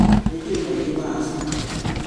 " Nijũĩ maingĩ ma-Asuto.